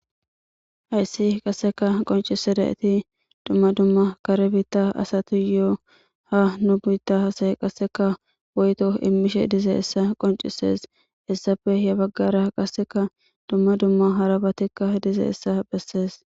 Hayssi qasseka qoncise da eti dumma dumma kare biitta asatu yo'o ha nubitta hasayi qasseka woyto immishe dize issa qoncisees issafe he baggara qasseka dumma dumma harabatikka dize essa bessees.